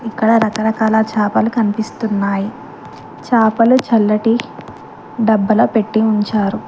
అక్కడ రకరకాల చాపలు కనిపిస్తున్నాయి చాపలు చల్లటి డబ్బలొ పెట్టి ఉంచారు.